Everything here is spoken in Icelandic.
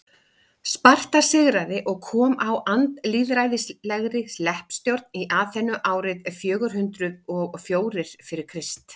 sparta sigraði og kom á andlýðræðislegri leppstjórn í aþenu árið fjögur hundruð og fjórir fyrir krist